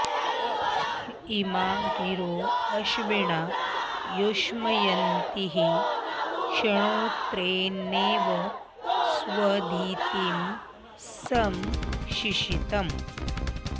इ॒मा गिरो॑ अश्विना युष्म॒यन्तीः॒ क्ष्णोत्रे॑णेव॒ स्वधि॑तिं॒ सं शि॑शीतम्